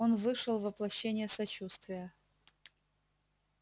он вышел воплощение сочувствия